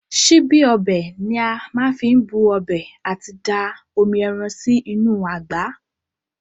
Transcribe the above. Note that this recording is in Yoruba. Síbí ọbẹ̀ ni a má fi n bu ọbẹ̀ àti da omi ẹran sí inú àgbá.